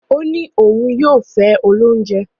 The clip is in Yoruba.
O ni oun yoo fe olounje